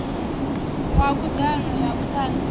wa khud ano ya vhutanzi